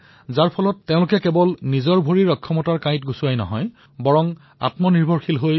আজি এই মহিলাসকলৰ সংকল্পৰ ফলত কেৱল তেওঁলোকৰ পৰিয়ালৰ আৰ্থিক অৱস্থা সমৃদ্ধ হোৱাই নহয় আনকি তেওঁলোকৰ জীৱনৰ স্তৰো উন্নত হৈছে